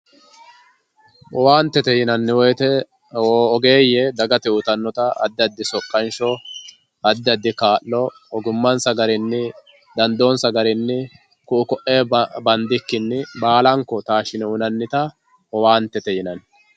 owaantete yinanni woyiite ogeeye dagate uyiitannota addi addi soqqansho addi addi kaa'lo ogummansa garinni dandoonsa garinni ku"u ko"ee bandikinni baalanko taashine uyiinannita owaantete yinanni.